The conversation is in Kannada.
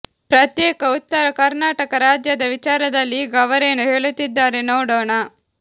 ಪ್ರತ್ಯೇಕ ಉತ್ತರ ಕರ್ನಾಟಕ ರಾಜ್ಯದ ವಿಚಾರದಲ್ಲಿ ಈಗ ಅವರೇನು ಹೇಳುತ್ತಿದ್ದಾರೆ ನೋಡೋಣ